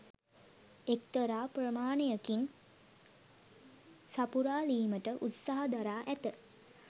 එක්තරා ප්‍රමාණයකින් සපුරාළීමට උත්සාහ දරා ඇත.